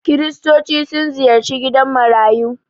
Kiristoci sun ziyarci gidan marayu.